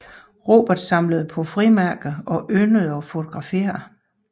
Robert samlede på frimærker og yndede at fotografere